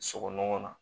Sogo nɔgɔ na